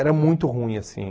Era muito ruim assim.